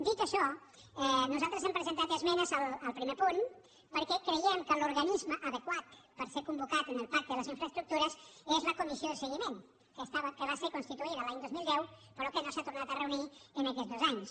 dit això nosaltres hem presentat esmenes al primer punt perquè creiem que l’organisme adequat per ser convocat en el pacte de les infraestructures és la comissió de seguiment que va ser constituïda l’any dos mil deu però que no s’ha tornat a reunir en aquests dos anys